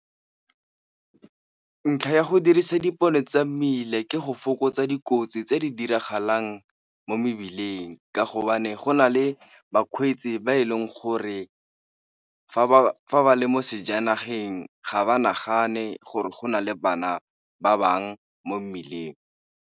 Ntlha ya go dirisa dipone tsa mmila ke go fokotsa dikotsi tse di diragalang mo mebileng, ka hobane go na le bakgweetsi ba e leng gore fa ba le mo sejanageng ga ba nagane gore go na le bana ba bangwe mo mmileng.